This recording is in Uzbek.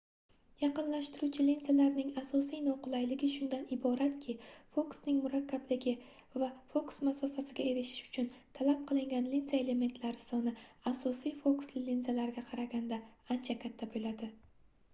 yaqinlashtiruvchi linzalarning asosiy noqulayligi shundan iboratki fokusning murakkabligi va fokus masofasiga erishish uchun talab qilingan linza elementlari soni asosiy fokusli linzalarga qaraganda ancha katta boʻladi